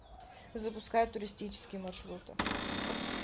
запускай туристические маршруты